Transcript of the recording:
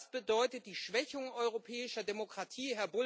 Das bedeutet die Schwächung europäischer Demokratie.